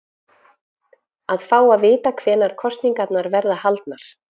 Að fá að vita hvenær kosningarnar verða haldnar?